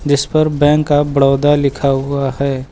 जिस पर bank of Baroda लिखा हुआ है।